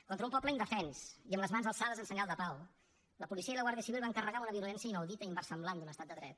contra un poble indefens i amb les mans alçades en senyal de pau la policia i la guàrdia civil van carregar amb una violència inaudita i inversemblant en un estat de dret